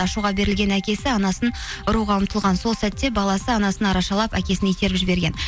ашуға берілген әкесі анасын ұруға ұмтылған сол сәтте баласы анасын арашалап әкесін итеріп жіберген